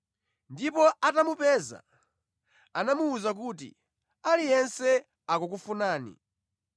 ndipo atamupeza, anamuwuza kuti, “Aliyense akukufunani!”